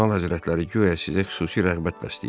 Kardinal həzrətləri guya sizə xüsusi rəğbət bəsləyir.